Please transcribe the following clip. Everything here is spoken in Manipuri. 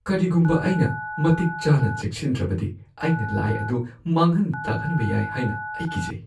ꯀꯔꯤꯒꯨꯝꯕ ꯑꯩꯅ ꯃꯇꯤꯛ ꯆꯥꯅ ꯆꯦꯛꯁꯤꯟꯗ꯭ꯔꯕꯗꯤ ꯑꯩꯅ ꯂꯥꯏ ꯑꯗꯨ ꯃꯥꯡꯍꯟ-ꯇꯥꯛꯍꯟꯕ ꯌꯥꯏ ꯍꯥꯏꯅ ꯑꯩ ꯀꯤꯖꯩ꯫